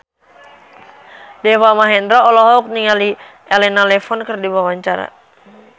Deva Mahendra olohok ningali Elena Levon keur diwawancara